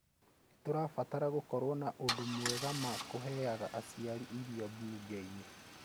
Nĩ tũrabatara gũkorwo na ũndũ mwega ma kũheaga aciari irio mbunge-inĩ